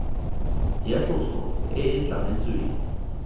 ya tloso e e tlametsweng